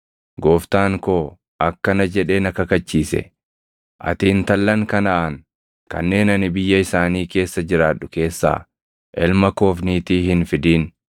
Gooftaan koo akkana jedhee na kakachiise; ‘Ati intallan Kanaʼaan kanneen ani biyya isaanii keessa jiraadhu keessaa ilma koof niitii hin fidin;